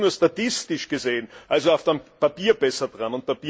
Sie sind nur statistisch gesehen, also auf dem Papier, besser dran.